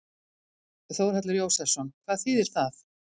Þórhallur Jósefsson: Hvað þýðir það?